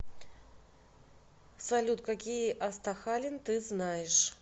салют какие астахалин ты знаешь